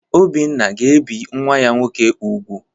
Obinna ga-ebi nwa ya nwoke úgwù.